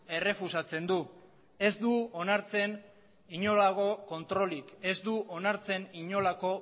errefusatzen du ez du onartzen inolako kontrolik ez du onartzen inolako